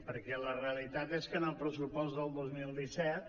perquè la realitat és que en el pressupost del dos mil disset